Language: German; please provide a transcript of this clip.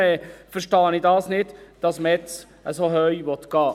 Deshalb verstehe ich nicht, dass man jetzt so hoch gehen will.